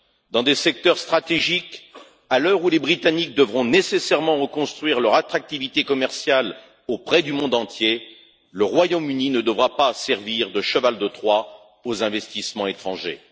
Dans des secteurs stratégiques, à l'heure où les Britanniques devront nécessairement reconstruire leur attractivité commerciale auprès du monde entier, le Royaume Uni ne devra pas servir de cheval de Troie aux investissements étrangers.